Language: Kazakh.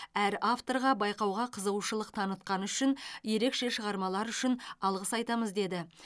әр авторға байқауға қызығушылық танытқаны үшін ерекше шығармалары үшін алғыс айтамыз деді